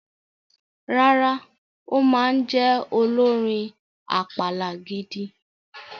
Rárá, ó ma jẹ olórin àpàlà gidi.